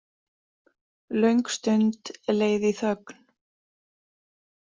Löng stund leið í þögn.